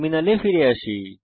টার্মিনালে ফিরে আসি